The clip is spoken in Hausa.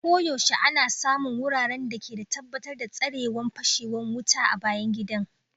Koyaushe ana samun wuraren da ke tabbatar datsarewan fashewan wuta a bayan gidan